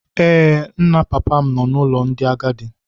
Ee, nna papa m nọ n’ụlọ ndị agadi.